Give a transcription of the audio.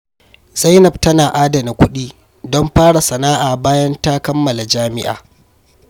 Zainab tana adana kudi don fara sana’a bayan ta kammala jami’a.